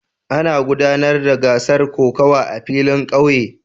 Ana gudanar da gasar kokawa a filin kauye